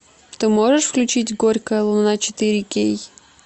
ты можешь включить горькая луна четыре кей